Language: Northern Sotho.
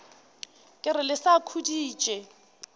ke re le sa khuditše